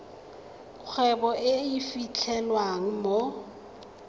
kgwebo e e fitlhelwang mo